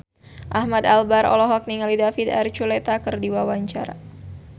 Ahmad Albar olohok ningali David Archuletta keur diwawancara